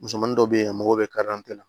Musomanin dɔ bɛ yen a mago bɛ la